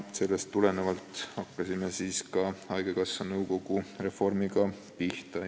Sellest tulenevalt hakkasime haigekassa nõukogu reformiga pihta.